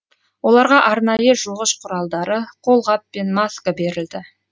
оларға арнайы жуғыш құралдары қолғап пен маска берілді